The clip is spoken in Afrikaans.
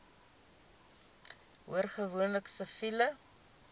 hoor gewoonlik siviele